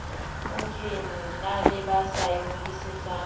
na le ba sa ingodisetseng